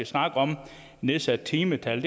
snakke om nedsat timetal